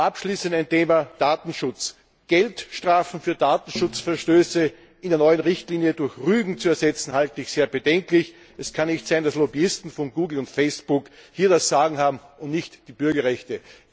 Abschließend zum Thema Datenschutz Geldstrafen für Datenschutzverstöße in der neuen Richtlinie durch Rügen zu ersetzen, halte ich für sehr bedenklich. Es kann nicht sein, dass Lobbyisten von Google und Facebook hier das Sagen haben und nicht die Bürgerrechte.